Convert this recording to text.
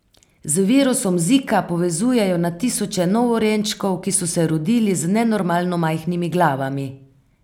Z virusom zika povezujejo na tisoče novorojenčkov, ki so se rodili z nenormalno majhnimi glavami.